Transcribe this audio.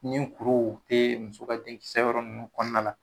Nin kuruw tee muso ka den kisɛ yɔrɔn nunnu kɔɔna la.